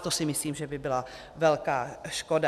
A to si myslím, že by byla velká škoda.